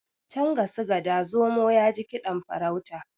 can ga su gada zomo ya ji kiɗan farauta